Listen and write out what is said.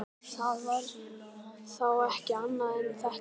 Það var þá ekki annað en þetta!